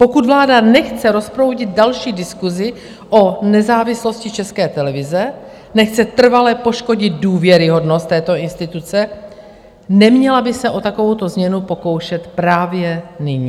Pokud vláda nechce rozproudit další diskusi o nezávislosti České televize, nechce trvale poškodit důvěryhodnost této instituce, neměla by se o takovouto změnu pokoušet právě nyní.